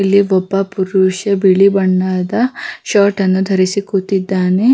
ಇಲ್ಲಿ ಒಬ್ಬ ಪುರುಷ ಬಿಳಿ ಬಣ್ಣದ ಶರ್ಟ್ ಅನ್ನು ಧರಿಸಿ ಕೂತಿದ್ದಾನೆ-